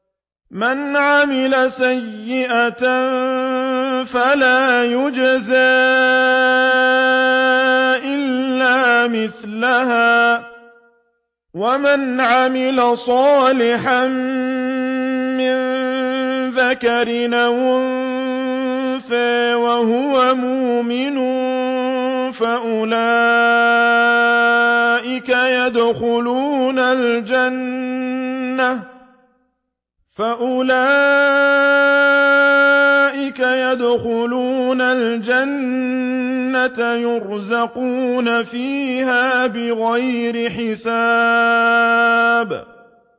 مَنْ عَمِلَ سَيِّئَةً فَلَا يُجْزَىٰ إِلَّا مِثْلَهَا ۖ وَمَنْ عَمِلَ صَالِحًا مِّن ذَكَرٍ أَوْ أُنثَىٰ وَهُوَ مُؤْمِنٌ فَأُولَٰئِكَ يَدْخُلُونَ الْجَنَّةَ يُرْزَقُونَ فِيهَا بِغَيْرِ حِسَابٍ